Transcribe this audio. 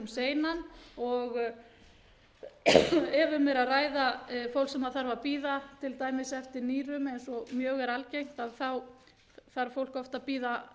seinan ef um er að ræða fólk sem þarf að bíða til dæmis eftir nýrum eins og mjög er algengt þá þarf fólk oft að bíða